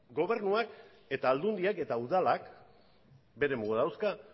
gobernuak eta aldundiak eta udalak bere mugak dauzka